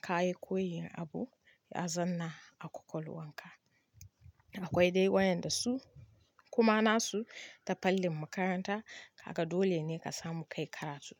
ka yi koyin abu ya zanna a kwakwalwan ka. Akwai dai wayan da su kuma nasu ta fallin makaranta haka dole ne ka samu ka yi karatu.